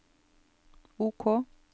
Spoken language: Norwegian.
OK